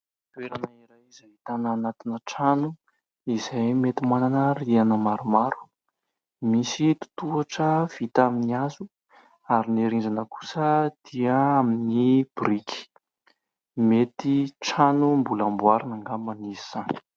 Toerana iray izay tanàna anatina trano, izay mety manana rihana maromaro, misy totohatra vita amin'ny hazo ary ny rindrina kosa dia amin'ny biriky ; mety trano mbola amboarina angamba izy izany.